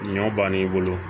Ɲɔ bann'i bolo